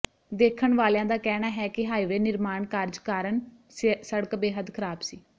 ਦੇਖਣ ਵਾਲਿਆਂ ਦਾ ਕਹਿਣਾ ਹੈ ਕਿ ਹਾਈਵੇ ਨਿਰਮਾਣ ਕਾਰਜ ਕਾਰਨ ਸੜਕ ਬੇਹਦ ਖਰਾਬ ਸੀ